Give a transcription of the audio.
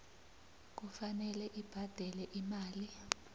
kufanele abhadele imali